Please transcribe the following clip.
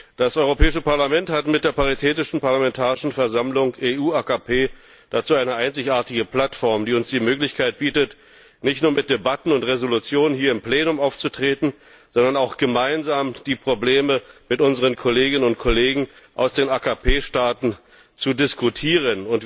Das Europäische Parlament hat mit der Paritätischen Parlamentarischen Versammlung AKP EU dazu eine einzigartige Plattform, die uns die Möglichkeit bietet, nicht nur mit Debatten und Entschließungen hier im Plenum aufzutreten, sondern die Probleme auch gemeinsam mit unseren Kolleginnen und Kollegen aus den AKP Staaten zu diskutieren.